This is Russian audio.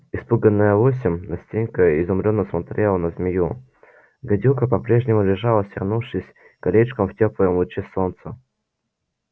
испуганная лосем настенька изумлённо смотрела на змею гадюка по-прежнему лежала свернувшись колечком в тёплом луче солнца